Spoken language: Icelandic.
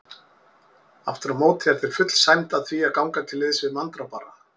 Afturámóti er þér full sæmd að því að ganga til liðs við manndrápara.